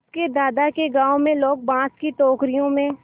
उसके दादा के गाँव में लोग बाँस की टोकरियों में